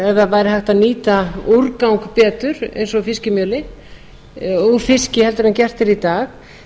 væri hægt að nýta úrgang betur eins og fiskimjölið úr fiski heldur en gert er í dag